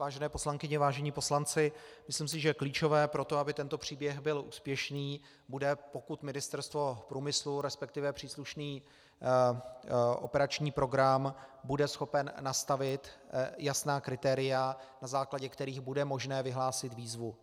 Vážené poslankyně, vážení poslanci, myslím si, že klíčové pro to, aby tento příběh byl úspěšný, bude, pokud Ministerstvo průmyslu, respektive příslušný operační program bude schopen nastavit jasná kritéria, na základě kterých bude možné vyhlásit výzvu.